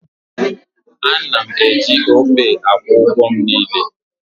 A na m eji Opay akwụ ụgwọ m niile